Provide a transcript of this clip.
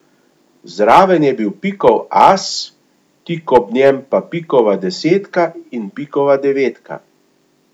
Zraven je bil pikov as, tik ob njem pa pikova desetka in pikova devetka.